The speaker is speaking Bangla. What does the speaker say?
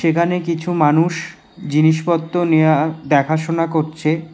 এখানে কিছু মানুষ জিনিসপত্র নেয়া দেখাশোনা করছে।